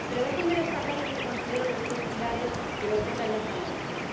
Pero déjenme destacar los que considero los tres pilares que vertebran este análisis.